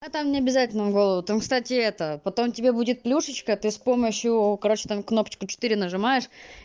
а там необязательно голову там кстати это потом тебе будет плюшечка ты с помощью короче там кнопочку четыре нажимаешь